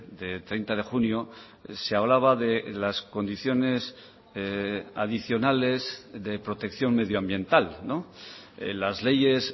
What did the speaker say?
de treinta de junio se hablaba de las condiciones adicionales de protección medioambiental las leyes